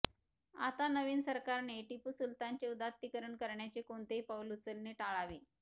आता नवीन सरकारने टिपू सुलतानचे उदात्तीकरण करण्याचे कोणतेही पाऊल उचलणे टाळावे